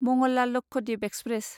Mangla Lakshadweep express